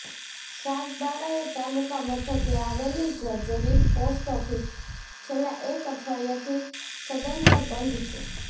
સાગબારાએ તાલુકા મથકે આવેલી જર્જરીત પોસ્ટ ઓફિસ છેલ્લા એક અઠવાડીયાથી સદંતર બંધ છે